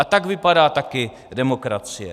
A tak vypadá taky demokracie.